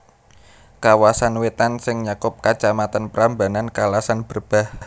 Kawasan Wétan sing nyakup Kacamatan Prambanan Kalasan Berbah